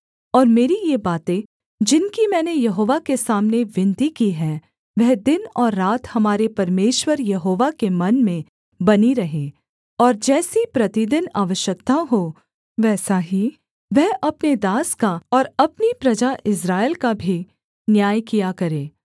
और मेरी ये बातें जिनकी मैंने यहोवा के सामने विनती की है वह दिन और रात हमारे परमेश्वर यहोवा के मन में बनी रहें और जैसी प्रतिदिन आवश्यकता हो वैसा ही वह अपने दास का और अपनी प्रजा इस्राएल का भी न्याय किया करे